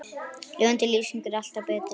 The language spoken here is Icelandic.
Lifandi lýsing er alltaf betri.